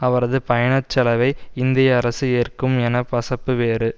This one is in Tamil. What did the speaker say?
அவரது பயணச் செலவை இந்திய அரசு ஏற்கும் என பசப்பு வேறு